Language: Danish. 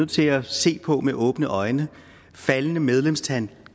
til at se på med åbne øjne faldende medlemstal